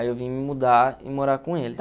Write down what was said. Aí eu vim me mudar e morar com eles.